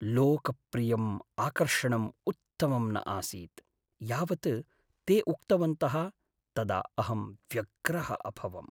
लोकप्रियम् आकर्षणम् उत्तमं न आसीत् यावत् ते उक्तवन्तः तदा अहं व्यग्रः अभवम्।